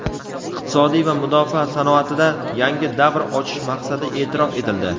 iqtisodiy va mudofaa sanoatida yangi davr ochish maqsadi e’tirof etildi.